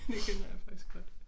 Det kender jeg faktisk godt